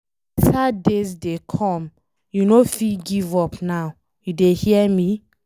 Beta days dey come, you no fit give up now, you dey hear me